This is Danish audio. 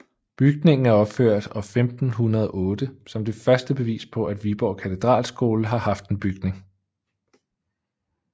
Bygningen er opført år 1508 som det første bevis på at Viborg Katedralskole har haft en bygning